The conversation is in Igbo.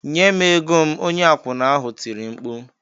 "Nye m ego m!" onye akwụna ahụ tiri mkpu.